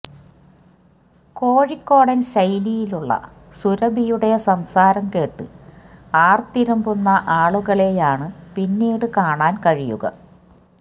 കോഴിക്കോടന് ശൈലിയിലുള്ള സുരഭിയുടെ സംസാരം കേട്ട് ആര്ത്തിരമ്പുന്ന ആളുകളെയാണ് പിന്നീട് കാണാന് കഴിയുക